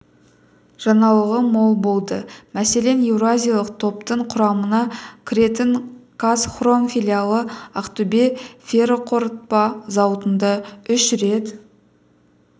жаңалығы мол болды мәселен еуразиялық топтың құрамына кіретін қазхром филиалы ақтөбе ферроқорытпа зауытында үш рет